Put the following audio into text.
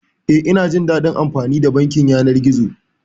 Eh, ina jin daɗin amfani da bankin yanar gizo.